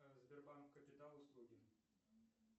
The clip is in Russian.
сбербанк капитал услуги